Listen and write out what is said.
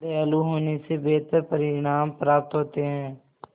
दयालु होने से बेहतर परिणाम प्राप्त होते हैं